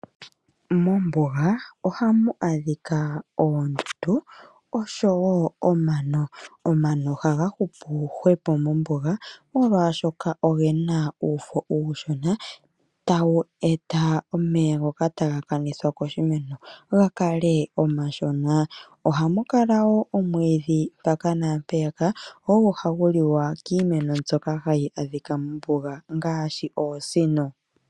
Mombuga ohamu adhikwa oondundu oshowo omano. Omano ohaga hupu molwaashoka ogena uufo uushona tawu eta omeya ngoka taga kanithwa koshimeno gakale omashona. Ohamukala woo omwiidhi mpaka naampeyaka ogo hagu liwa kiinamwenyo mbyoka hayi adhikwa mombuga ngaashi oosino.